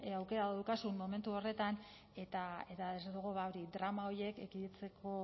aukera daukazun momentu horretan eta desde luego hori drama horiek ekiditzeko